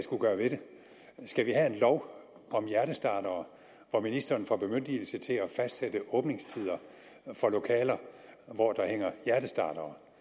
skulle gøre ved det skal vi have en lov om hjertestartere hvor ministeren får bemyndigelse til at fastsætte åbningstider for lokaler hvor der hænger hjertestartere